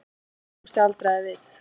Hún staldraði við.